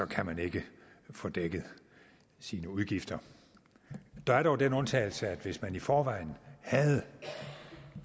kan man ikke få dækket sine udgifter der er dog en undtagelse at hvis man i forvejen havde